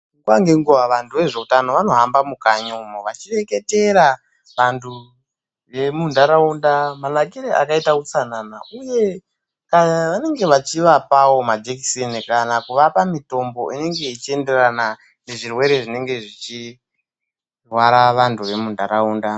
Nguwa ngenguwa vantu vanoita ngezviutano vanohamba mukanye umo vachideketera vantu vemundaraunda manakire akaita utsanana uye vantu ava vanenge vachivapawo majekisini kana kuvapa mitombo inenge ichienderana nezvirwere zvinenge zvichirwara vandu vemundaraunda.